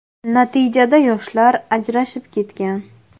Natijada yoshlar ajrashib ketgan.